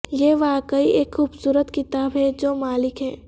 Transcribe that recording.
یہ واقعی ایک خوبصورت کتاب ہے جو مالک ہے